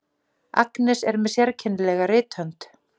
Agnes er með sérkennilega rithönd.